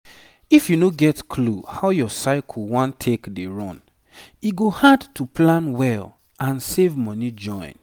if you no get clue how your cycle won take dey run e go hard to plan well and save money join.